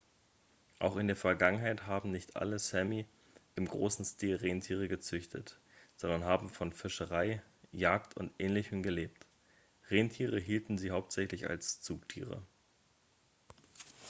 auch in der vergangenheit haben nicht alle sámi im großen stil rentiere gezüchtet sondern haben von fischerei jagd und ähnlichem gelebt. rentiere hielten sie hauptsächlich als zugtiere